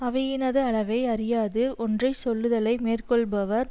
அவையினது அளவை அறியாது ஒன்றை சொல்லுதலை மேற்கொள்பவர்